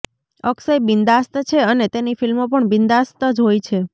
અક્ષય બિન્દાસ્ત છે અને તેની ફિલ્મો પણ બિન્દાસ્ત જ હોય છે